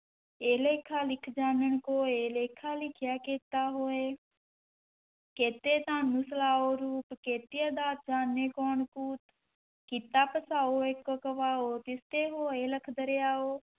ਏਹ ਲੇਖਾ ਲਿਖਿ ਜਾਣਨ ਕੋਇ, ਲੇਖਾ ਲਿਖਿਆ ਕੇਤਾ ਹੋਇ ਕੇਤੇ ਤਾਣੁ ਰੂਪੁ, ਕੇਤੀਆ ਦਾਤਿ ਜਾਣੈ ਕੌਣੁ ਕੂਤੁ, ਕੀਤਾ ਪਸਾਉ ਏਕੋ ਕਵਾਉ, ਤਿਸ ਤੇ ਹੋਏ ਲਖ ਦਰੀਆਉ,